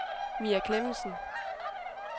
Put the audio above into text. Mia Klemmensen